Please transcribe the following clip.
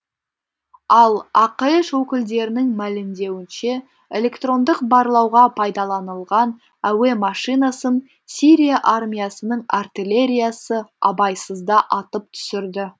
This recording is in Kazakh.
ал ақш өкілдерінің мәлімдеуінше электрондық барлауға пайдаланылған әуе машинасын сирия армиясының артиллериясы абайсызда атып түсірді